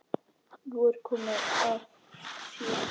Nú er komið að þér.